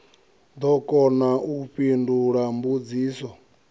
ḓo kona u fhindula mbudziso